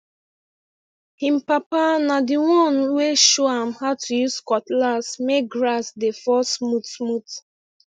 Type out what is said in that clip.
him papa na the one wey show am how to use cutlass make grass dey fall smoothsmooth